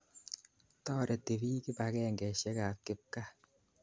Toreti piik kipakengeisyek ap kipkaa.